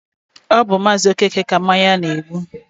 ọ bụ Maazi Okeke ka mmanya na-egbu.